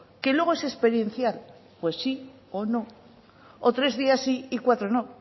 que luego es experiencial pues si o no o tres días sí y cuatro no